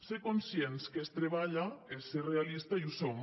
ser conscients que es treballa és ser realista i ho som